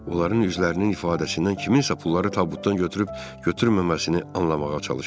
Onların üzlərinin ifadəsindən kimsə pulları tabutdan götürüb, götürməməsini anlamağa çalışırdım.